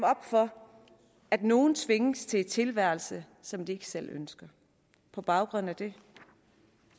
op for at nogen tvinges til en tilværelse som de ikke selv ønsker på baggrund af det